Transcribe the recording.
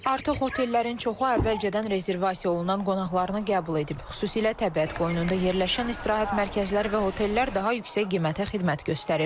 Artıq otellərin çoxu əvvəlcədən rezervasiya olunan qonaqlarını qəbul edib, xüsusilə təbiət qoynunda yerləşən istirahət mərkəzləri və otellər daha yüksək qiymətə xidmət göstərir.